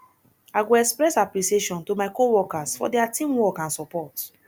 i go express appreciation to my coworkers for dia teamwork and support